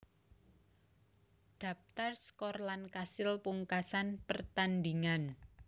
Dhaptar skor lan kasil pungkasan pertandhingan